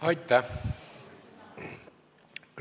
Aitäh!